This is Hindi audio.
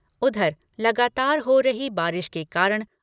उधर, लगातार हो